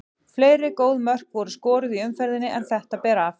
Fleiri góð mörk voru skoruð í umferðinni en þetta ber af.